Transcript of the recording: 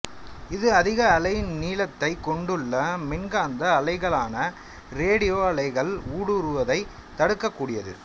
இது அதிக அலை நீளத்தைக் கொண்டுள்ள மின்காந்த அலைகளான ரேடியோ அலைகள் ஊடுருவுவதைத் தடுக்கக் கூடியது